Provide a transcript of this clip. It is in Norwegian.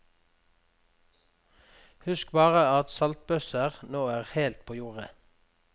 Husk bare at saltbøsser nå er helt på jordet.